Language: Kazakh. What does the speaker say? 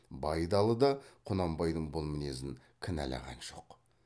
байдалы да құнанбайдың бұл мінезін кінәлаған жоқ